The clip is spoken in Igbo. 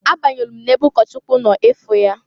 A banyelu m n'ebe ụkọchụkwụ nọ ịfụ ya.